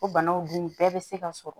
O banaw dun bɛɛ be se ka sɔrɔ